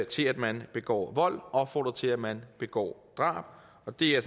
til at man begår vold opfordret til at man begår drab og det er